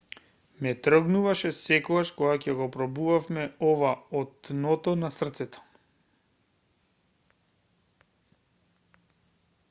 ме трогнуваше секогаш кога ќе го пробувавме ова од дното на срцето